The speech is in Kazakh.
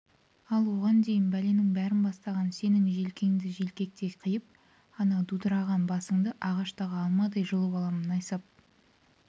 ал оған дейін бәленің бәрін бастаған сенің желкеңді желкектей қиып ана дудыраған басыңды ағаштағы алмадай жұлып аламын найсап